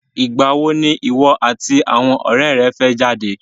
Ìgbà wo ni ìwọ àti àwọn ọ̀rẹ́ rẹ fẹ́ jáde?